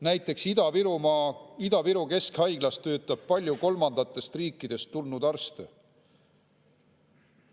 Näiteks Ida-Viru Keskhaiglas töötab palju kolmandatest riikidest tulnud arste.